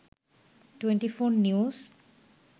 24 news